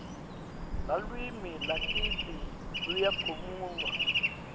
lalwimi lakitsi luyakhulmywa